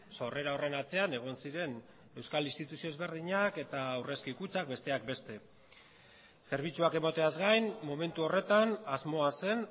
sorrera horren atzean egon ziren euskal instituzio ezberdinak eta aurrezki kutxak besteak beste zerbitzuak emateaz gain momentu horretan asmoa zen